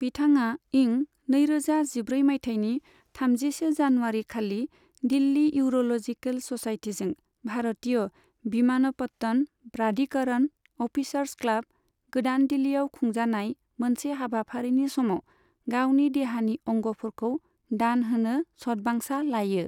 बिथाङा इं नै रोजा जिब्रै माइथायनि थामजिसे जानुवारिखालि दिल्ली इउर'लजिकेल ससाइटिजों भारतीय भिमानपत्तन प्राधिकरण, अफिसार्स क्लाब, गोदान दिल्लीआव खुंजानाय मोनसे हाबाफारिनि समाव गावनि देहानि अंगफोरखौ दान होनो सतबांसा लायो।